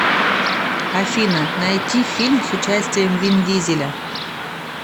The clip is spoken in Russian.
афина найти фильм с участием вин дизеля